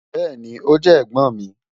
Bẹẹni, o jẹ ẹ̀gbọ́n mi.